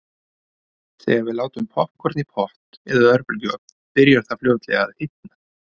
Þegar við látum poppkorn í pott eða örbylgjuofn byrjar það fljótlega að hitna.